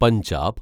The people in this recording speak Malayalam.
പഞ്ചാബ്